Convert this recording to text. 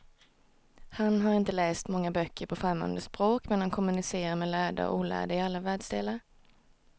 Han har inte läst många böcker på främmande språk, men han kommunicerar med lärda och olärda i alla världsdelar.